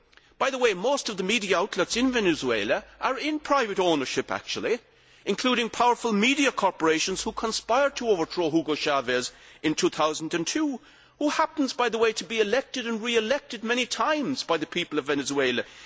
By the way, most of the media outlets in Venezuela are in private ownership, actually, including powerful media corporations which conspired to overthrow Hugo Chávez in 2002, who happens to have been elected and re elected many times by the people of Venezuela.